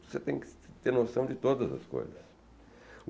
Você tem que ter noção de todas as coisas.